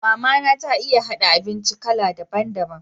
Mama na ta iya haɗa abinci kala daban daban.